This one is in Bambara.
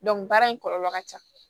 baara in kɔlɔlɔ ka ca